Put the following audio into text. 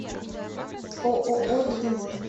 ооо бегемот